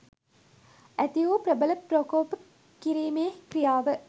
ඇති වූ ප්‍රබලම ප්‍රකෝප කිරිමේ ක්‍රියාව